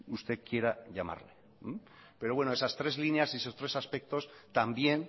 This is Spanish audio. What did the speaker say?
usted quiera llamarlo pero bueno esas tres líneas y esos tres aspectos también